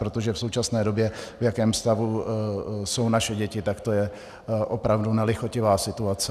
Protože v současné době v jakém stavu jsou naše děti, tak to je opravdu nelichotivá situace.